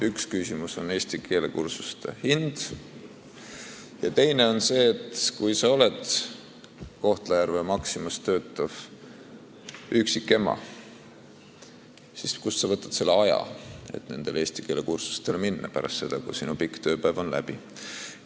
Üks küsimus on eesti keele kursuste hind ja teine on see, et kui sa oled Kohtla-Järve Maximas töötav üksikema, siis kust sa võtad selle aja, et nendele eesti keele kursustele minna pärast seda, kui sinu pikk tööpäev on läbi.